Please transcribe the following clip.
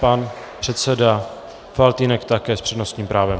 Pan předseda Faltýnek také s přednostním právem.